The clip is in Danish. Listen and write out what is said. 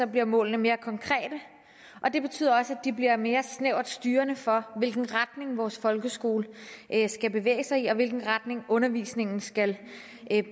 bliver målene mere konkrete og det betyder også at de bliver mere snævert styrende for hvilken retning vores folkeskole skal bevæge sig i og hvilken retning undervisningen skal